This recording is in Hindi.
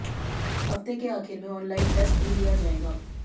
हफ्ते के आखिर में ऑनलाइन टेस्ट भी लिया जाएगा